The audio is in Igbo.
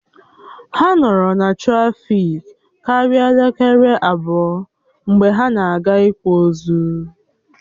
Ha nọrọ na trafiki karia elekere abụọ mgbe ha na-aga ị̀kwa ozu